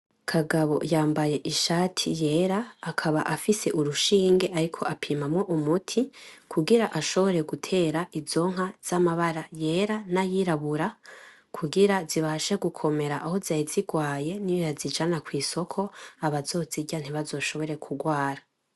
Kagabo yambaye ishati yera akaba afise agashinga ariko apimamo umuti, kugira ashobore gutera inzo nka za mabara yera nayirabura. Kugira zibashe gukomera aho zari zigwaye nibazijana kwisoko abazozirya ntibazoshobore kugwara.